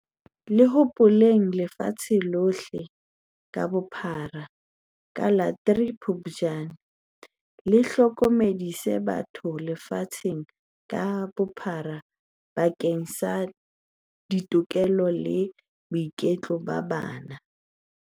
le hopolwang lefatshe lohle ka bophara ka la 03 Phuptjane, le ho hlokomedisa batho lefatshe ka bophara bakeng sa ditokelo le boiketlo ba bana.